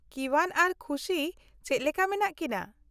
-ᱠᱤᱣᱟᱱ ᱟᱨ ᱠᱷᱩᱥᱤ ᱪᱮᱫ ᱞᱮᱠᱟ ᱢᱮᱱᱟᱜ ᱠᱤᱱᱟᱹ ?